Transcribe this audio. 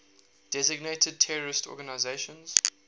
designated terrorist organizations